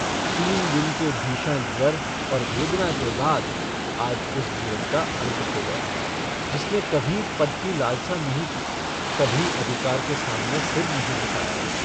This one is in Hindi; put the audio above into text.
तीन दिन के भीषण ज्वर और वेदना के बाद आज उस जीवन का अन्त हो गया जिसने कभी पद की लालसा नहीं की कभी अधिकार के सामने सिर नहीं झुकाया।